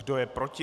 Kdo je proti?